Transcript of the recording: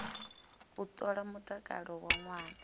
u ṱola mutakalo wa ṅwana